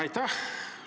Aitäh!